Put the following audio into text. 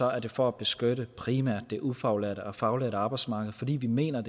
er det for at beskytte primært det ufaglærte og faglærte arbejdsmarked fordi vi mener